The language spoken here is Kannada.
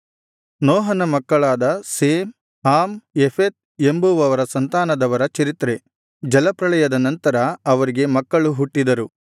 ನೋಹನ ಮಕ್ಕಳಾದ ಶೇಮ್ ಹಾಮ್ ಯೆಫೆತ್ ಎಂಬುವವರ ಸಂತಾನದವರ ಚರಿತ್ರೆ ಜಲಪ್ರಳಯದ ನಂತರ ಅವರಿಗೆ ಮಕ್ಕಳು ಹುಟ್ಟಿದರು